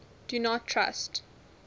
do not trust